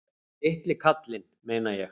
Litli kallinn, meina ég.